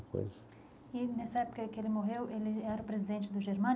E nessa época que ele morreu, ele era o presidente da Germânia?